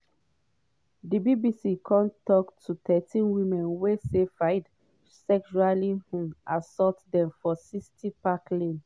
di bbc don tok to thirteen women wey say fayed sexually um assault dem for 60 park lane.